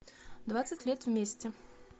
двадцать лет вместе